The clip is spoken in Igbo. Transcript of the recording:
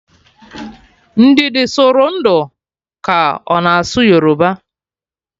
Ndidi sụrụ ndụ ka ọ na-asụ Yoruba